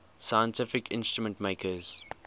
scientific instrument makers